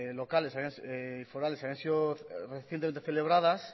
forales habían sido recientemente celebradas